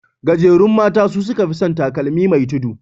Gajerun mata su suka fi san takalmi mai tudu.